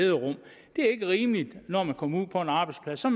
er ikke rimeligt når man kommer ud på en arbejdsplads så